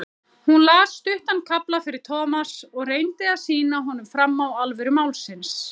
Hún las stuttan kafla fyrir Thomas og reyndi að sýna honum fram á alvöru málsins.